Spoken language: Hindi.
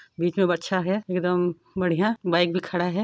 बिच में बच्छा है एकदम बढ़िया बाइक भी खड़ा है।